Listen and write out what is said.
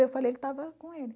Eu falei que estava com ele.